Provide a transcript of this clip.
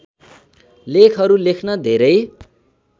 लेखहरू लेख्न धेरै